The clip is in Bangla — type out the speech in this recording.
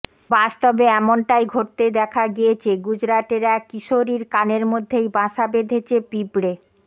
বাস্তবে এমনটাই ঘটতে দেখা গিয়েছে গুজরাটের এক কিশোরীর কানের মধ্যেই বাসা বেধেছে পিঁপড়ে